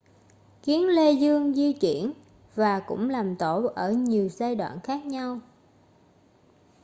kiến lê dương di chuyển và cũng làm tổ ở nhiều giai đoạn khác nhau